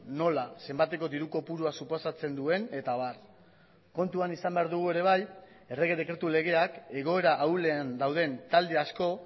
nola zenbateko diru kopurua suposatzen duen eta abar kontuan izan behar dugu ere bai errege dekretu legeak egoera ahulen dauden talde asko